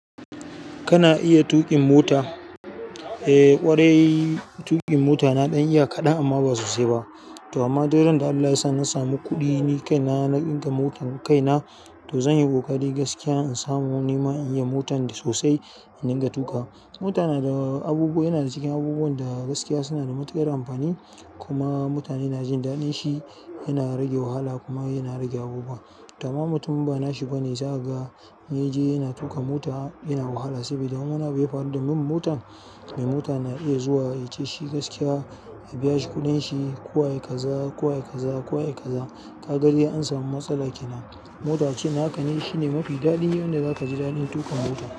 Kana iya tuƙin mota? Eh ƙwarai tuƙin mota na ɗan iya kaɗan amma ba sosai ba to amma duk ran da Allah ya sa na samu kuɗi nikaina naga motar kaina to zanyi ƙoƙari gaskiya in samu nima iniya motan da sosai in dinga tuƙawa. Mota na da abubuwa yana cikin abubuwan da gaskiya suna da matuƙar amfani kuma mutane na jin daɗin shi yana rage wahala kuma yana rage abubuwa. Dama mutum in ba nashi bane zaka ga in yaje yana tuƙa mota yana wahala saboda in wani abu yafaru da mota yadda min motar mai mota na iya zuwa ya ce shi gaskiya ya abiya shi kuɗin shi. Ko ai kaza ko ai kaza ko ai kaza yake zai ko wa yake zaza ka ga dai an samu matsala kenan mota ce. Haka ne shine mafi daɗin yanda zaka ji daɗin tuƙa mota.